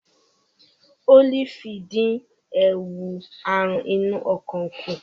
Ólífì ń dín ewu àrùn inú ọkàn kù.